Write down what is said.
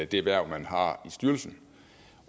det hverv man har i styrelsen